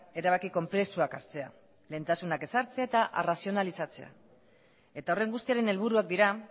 erabaki konplexuak hartzea lehentasunak ezartzea eta arrazionalizatzea eta horren guztiaren helburuak dira